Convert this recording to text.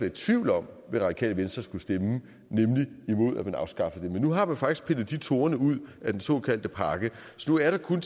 i tvivl om hvad radikale venstre skulle stemme nemlig imod at man afskaffede dem men nu har man faktisk pillet de torne ud af den såkaldte pakke så nu er der kun